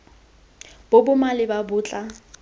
bo bo maleba bo tla